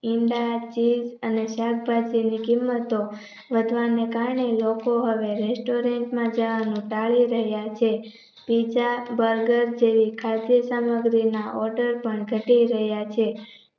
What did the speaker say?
ઈંડા cheese અને શાકભાજી કિંમતો વધવાને કારણે લોકો હવે restaurant માં જવાનું ટાળી રહ્યા છે. pizza Burger જેવી ખાદ્ય સામગ્રી ના order પણ ઘટી ગયા છે.